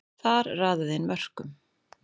Þar raðaði inn mörkum.